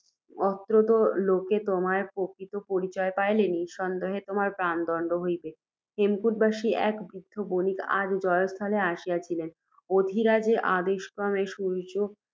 অত্রত্য লোকে তোমার প্রকৃত পরিচয় পাইলে, নিঃসন্দেহ তোমার প্রাণদণ্ড হইবেক। হেমকূটবাসী এক বৃদ্ধ বণিক আজ জয়স্থলে আসিয়াছিলেন। অধিরাজের আদেশক্রমে, সূর্য্য